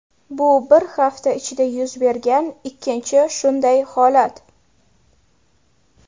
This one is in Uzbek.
Bu bir hafta ichida yuz bergan ikkinchi shunday holat.